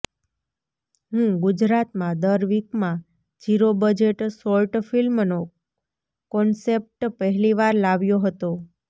હું ગુજરાતમાં દર વિકમાં ઝીરો બજેટ શોર્ટ ફિલ્મનો કોન્સ્ટેપ્ટ પહેલીવાર લાવ્યો હતો